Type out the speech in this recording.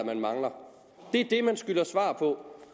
man mangler det man skylder svar på